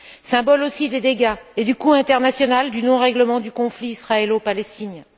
Symbole aussi des dégâts et du coût international du non règlement du conflit israélo palestinien.